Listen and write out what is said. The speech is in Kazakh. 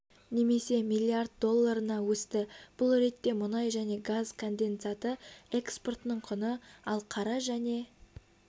немесе млрд долларына өсті бұл ретте мұнай және газ конденсаты экспортының құны ал қара және